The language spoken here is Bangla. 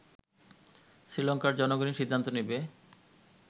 শ্রীলংকার জনগণই সিদ্ধান্ত নেবে